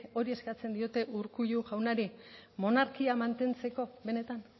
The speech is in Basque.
hori eskatzen diote urkullu jaunari monarkia mantentzeko benetan